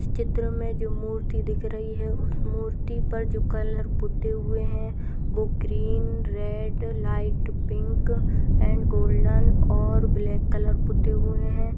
चित्र में जो मूर्ति दिख रही है उस मूर्ति पर जो कलर पुते हुए हैंग्रीन रेड लाइट पिंक और गोल्डन और ब्लैक कलर पुते हुए हैं।